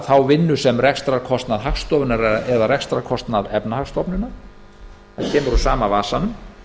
þá vinnu sem rekstrarkostnað hagstofunnar eða rekstrarkostnað efnahagsstofnunar það kemur úr sama vasanum